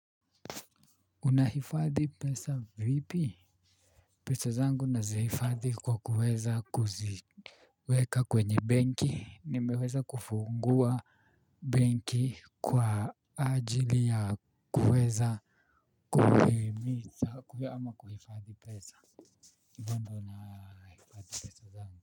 Unahifadhi pesa vipi? Pesa zangu nazihifadhi kwa kuweza kuziweka kwenye benki, nimeweza kufungua benki kwa ajili ya kuweza kuweza kuweza ama kuhifadhi pesa.